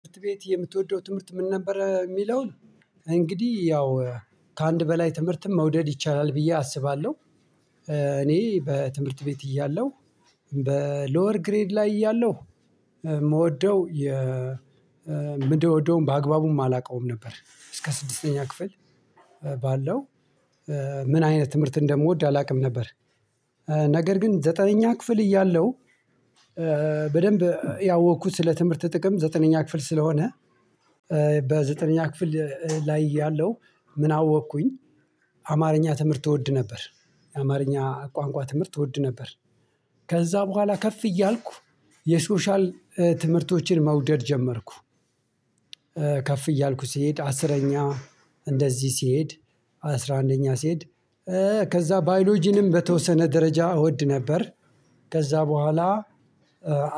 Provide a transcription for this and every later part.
ትምህርት ቤት የምትወደው ትምህርት ምን ነበር የሚለውን? እንግዲህ ያው ከአንድ በላይ ትምህርትም መውደድ ይቻላል ብዬ አስባለሁ። እኔ በትምህርት ቤት እያለሁ በሎወር ግሬድ ላይ እያለሁ የምወደው የምደውደውም በአግባቡም አላውቀውም ነበር እስከ ስድስተኛ ክፍል ባለው ምን አይነት ትምህርት እንደምወድ አላውቅም ነበር። ነገር ግን ዘጠነኛ ክፍል እያለሁ በደንብ ያወቅኩት ስለ ትምህርት ጥቅም ዘጠነኛ ክፍል ስለሆነ። በዘጠነኛ ክፍል ላይ እያለው ምን አወቅኩኝ አማርኛ ትምህርት እወድ ነበር። የአማርኛ ቋንቋ ትምህርት እወድ ነበር። ከዛ በኋላ ከፍ እያልኩ የሶሻል ትምህርቶችን መውደድ ጀመርኩ። ከፍ እያልኩ ስሄድ አስረኛ እንደዚህ ስሄድ አስራ አንደኛ ስሄድ ከዛ ባዮሎጂንም በተወሰነ ደረጃ እወድ ነበር። ከዛ በኋላ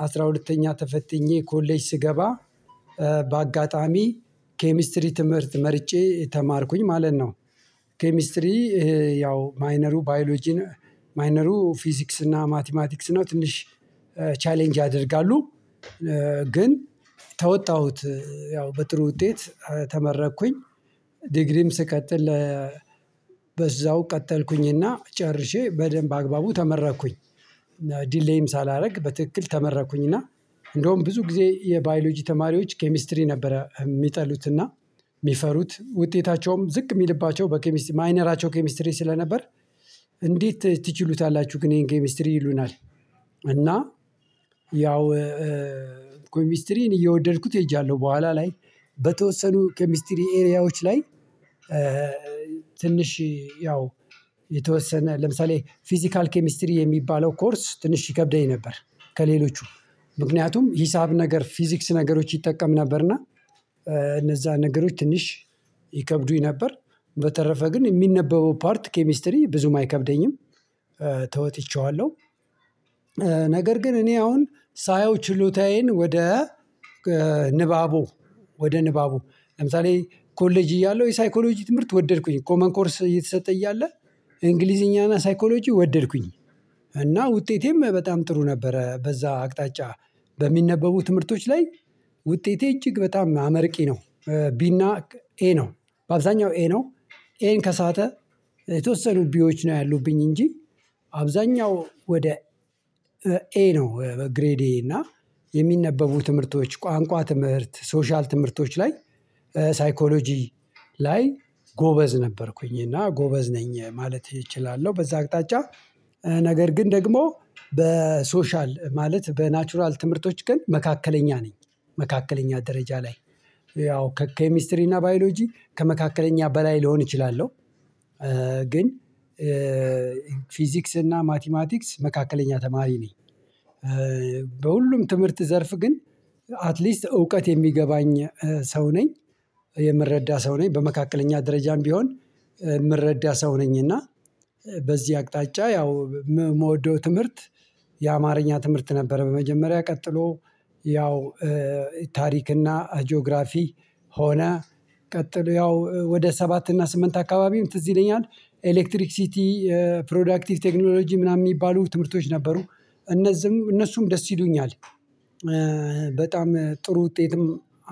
አስራ ሁለተኛ ተፈትኜ ኮሌጅ ስገባ በአጋጣሚ ኬሚስትሪ ትምህርት መርጬ ተማርኩኝ ማለት ነው። ኬሚስትሪ ይሄ ያው ማይነሩ ባዮሎጂን ማይነሩ ፊዚክስ እና ማቲማቲክስ ነው ትንሽ ቻሌንጅ ያደርጋሉ። ግን ተወጣሁት ያው በጥሩ ውጤት ተመረኩኝ ዲግሪም ስቀጥል በዛው ቀጠልኩኝና ጨርሼ በደንብ በአግባቡ ተመረቅኩኝ። ዲሌይም ሳላደርግ በትክክል ተመረቅኩኝ እና እንደውም ብዙ ጊዜ የባዮሎጂ ተማሪዎች ኬሚስትሪ ነበረ የሚጠሉትና የሚፈሩት ውጤታቸውም ዝቅ የሚልባቸው በኬሚስትሪ ማይነራቸው ኬሚስትሪ ስለነበር። እንዴት ትችሉታላችሁ ግን ይሄን ኮሚስትሪ ይሉናል? እና ያው ኬሚስትሪን እየወደድኩት ሄጃለሁ በኋላ ላይ በተወሰኑ ኬሚስትሪ ኤሪያዎች ላይ ትንሽ ያው የተወሰነ ለምሳሌ ፊዚካል ኬሚስትሪ የሚባለው ኮርስ ትንሽ ይከብደኝ ነበር። ከሌሎቹም ምክንያቱም ሂሳብ ነገር ፊዚክስ ነገሮች ይጠቀም ነበርና እነዛ ነገሮች ትንሽ ይከብዱኝ ነበር። በተረፈ ግን የሚነበበው ፓርት ኬሚስትሪ ብዙም አይከብደኝም ተወጥቼዋለሁ። ነገር ግን እኔ አሁን ሳየው ችሎታዬን ወደ ንባቡ ወደ ንባቡ ለምሳሌ ኮሌጅ እያለሁ የሳይኮሎጂ ትምህርት ወደድኩኝ ኮመን ኮርስ እየተሰጠ እያለ እንግሊዝኛና ሳይኮሎጂ ወደድኩኝ እና ውጤቴም በጣም ጥሩ ነበረ በዛ አቅጣጫ በሚነበቡ ትምህርቶች ላይ ውጤቴ እጅግ በጣም አመርቂ ነው። ቢ እና ኤ ነው በአብዛኛው ኤ ነው ኤን ከሳተ የተወሰኑ ቢዎች ነው ያሉብኝ እንጂ አብዛኛው ወደ ኤ ነው ግሬዴ እና የሚነበቡ ትምህርቶች ቋንቋ ትምህርት ሶሻል ትምህርቶች ላይ ሳይኮሎጂ ላይ ጎበዝ ነበርኩኝ እና ጎበዝ ነኝ ማለት እችላለሁ በዛ አቅጣጫ ነገር ግን ደግሞ በሶሻል ማለት በናቹራል ትምህርቶች ግን መካከለኛ ነኝ መካከለኛ ደረጃ ላይ ያው ከኬሚስትሪ እና ባዮሎጂ ከመካከለኛ በላይ ልሆን እችላለሁ። ግን ፊዚክስ እና ማቲማቲክስ መካከለኛ ተማሪ ነኝ። በሁሉም ትምህርት ዘርፍ ግን አትሊስት እውቀት የሚገባኝ ሰው ነኝ የምረዳ ሰው ነኝ በመካከለኛ ደረጃም ቢሆን የምረዳ ሰው ነኝና። በዚህ አቅጣጫ ያው ም የምወደው ትምህርት የአማርኛ ትምህርት ነበር በመጀመሪያ ቀጥሎ ያው ታሪክና ጂኦግራፊ ሆነ ቀጥሎ ያው ወደ ሰባት እና ስምንት አካባቢም ትዝ ይለኛል ኤሌክትሪክ ሲቲ ፕሮዳክቲቭ ቴክኖሎጂ ምናምን የሚባሉ ትምህርቶች ነበሩ እነዚህም እነሱም ደስ ይሉኛል። በጣም ጥሩ ውጤትም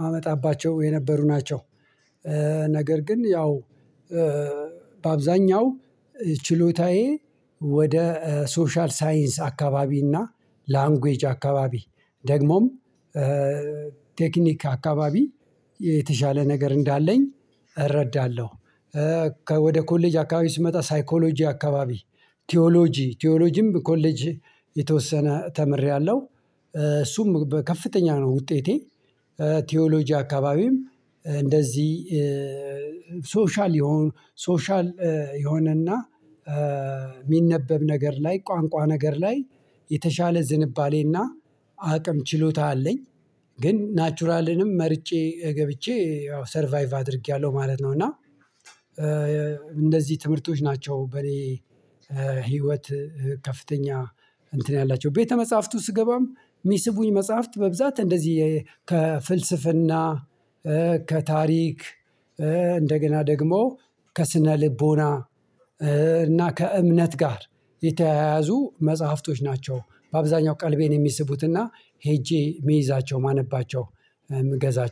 አመጣባቸው የነበሩ ናቸው። ነገር ግን ያው በአብዛኛው ችሎታዬ ወደ ሶሻል ሳይንስ አካባቢና እና ላንጉጅ አካባቢ ደግሞም ቴክኒክ አካባቢ የተሻለ ነገር እንዳለኝ እረዳለሁ። ወደ ኮሌጅ አካባቢ ስመጣ ሳይኮሎጂ አካባቢ ቲዎሎጂ ቲዎሎጂም ኮሌጅ የተወሰነ ተምሬያለሁ። እሱም በከፍተኛ ነው ውጤቴ ቲዎሎጂ አካባቢም እንደዚህ ሶሻል የሆነ ሶሻል የሆነና የሚነበብ ነገር ላይ ቋንቋ ነገር ላይ የተሻለ ዝንባሌና አቅም ችሎታ አለኝ። ግን ናቹራልንም መርጬ ገብቼ ያው ሰርቫይቭ አድርጌያለሁ ማለት ነው። እና እንነዚህ ትምህርቶች ናቸው በእኔ ህይወት ከፍተኛ እንትን ያላቸው ቤተ መጽሐፍቱ ስገባም የሚስቡኝ መጽሐፍት በብዛት እንደዚህ ከፍልስፍና ከታሪክ እንደገና ደግሞ ከስነ ልቦና እና ከእምነት ጋር የተያያዙ መጽሐፍቶች ናቸው። በአብዛኛው ቀልቤን የሚስቡትና ሄጄ የምይዛቸው የማነባቸው የምገዛቸው